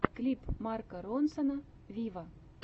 клип марка ронсона виво